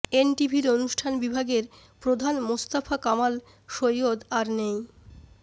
এনটিভির অনুষ্ঠান বিভাগের প্রধান মোস্তফা কামাল সৈয়দ আর নেই